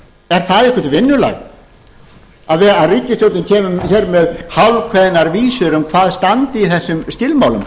er það eitthvert vinnulag að ríkisstjórnin kemur hér með hálfkveðnar vísur um hvað standi í þessum skilmálum